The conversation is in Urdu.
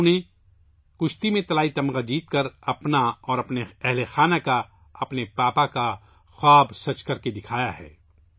تنو نے کشتی میں گولڈ میڈل جیت کا اپنا اور اپنے خاندان کا، اپنے والد کا خوابسچ کرکے دکھایا ہے